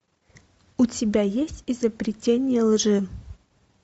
у тебя есть изобретение лжи